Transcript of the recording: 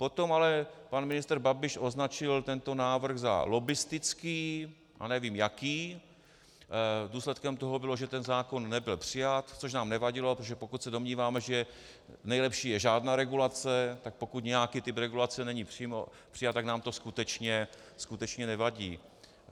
Potom ale pan ministr Babiš označil tento návrh za lobbistický a nevím jaký, důsledkem toho bylo, že ten zákon nebyl přijat, což nám nevadilo, protože pokud se domníváme, že nejlepší je žádná regulace, tak pokud nějaký typ regulace není přijat, tak nám to skutečně nevadí.